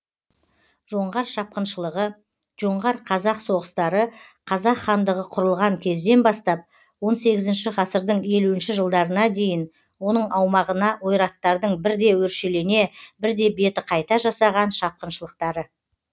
жоңғар шапқыншылығы жоңғар қазақ соғыстары қазақ хандығы құрылған кезден бастап он сегізінші ғасырдың елуінші жылдарына дейін оның аумағына ойраттардың бірде өршелене бірде беті қайта жасаған шапқыншылықтары